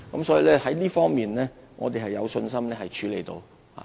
所以，在這方面，我們有信心可處理得到。